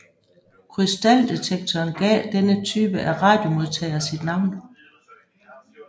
Krystaldetektoren gav denne type af radiomodtager sit navn